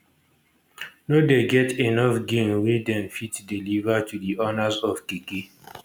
no dey get enof gain wey dem fit deliver to di owners of keke